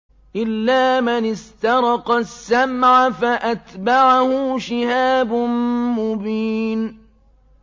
إِلَّا مَنِ اسْتَرَقَ السَّمْعَ فَأَتْبَعَهُ شِهَابٌ مُّبِينٌ